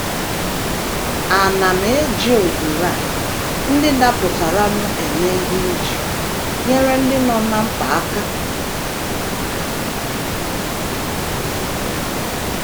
Àna m eji ohere ndị dapụtaranụ eme ihe iji nyere ndị nọ ná mkpa aka?